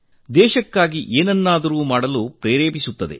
ದೇಶಕ್ಕಾಗಿ ಏನನ್ನಾದರೂ ಮಾಡಲು ಉತ್ತೇಜಿಸುತ್ತದೆ